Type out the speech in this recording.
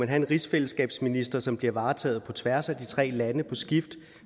have en rigsfællesskabsminister som bliver varetaget af de tre lande på skift